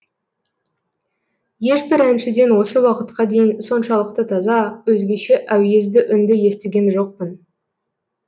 ешбір әншіден осы уақытқа дейін соншалықты таза өзгеше әуезді үнді естіген жоқпын